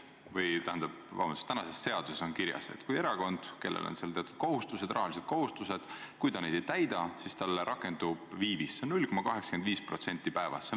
Praeguses seaduses on kirjas, et kui erakond, kellel on teatud rahalised kohustused, neid ei täida, siis talle rakendub viivis 0,85% päevas.